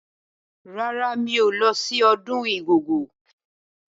Rárá, mi ò ní lọ sí ọdún Igogo.